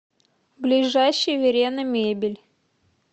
ближайший верена мебель